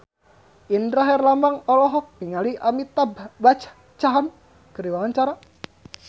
Indra Herlambang olohok ningali Amitabh Bachchan keur diwawancara